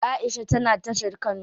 Aisha tana tashar kano.